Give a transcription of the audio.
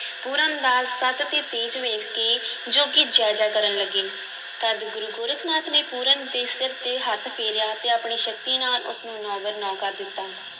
ਪੂਰਨ ਦਾ ਸਤਿ ਤੇ ਤੇਜ ਵੇਖ ਕੇ ਜੋਗੀ ਜੈ-ਜੈ ਕਰਨ ਲੱਗੇ, ਤਦ ਗੁਰੂ ਗੋਰਖ ਨਾਥ ਨੇ ਪੂਰਨ ਦੇ ਸਿਰ 'ਤੇ ਹੱਥ ਫੇਰਿਆ ਤੇ ਆਪਣੀ ਸ਼ਕਤੀ ਨਾਲ ਉਸ ਨੂੰ ਨੌ-ਬਰ-ਨੌ ਕਰ ਦਿੱਤਾ।